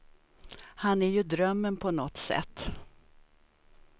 Han är ju drömmen på nåt sätt.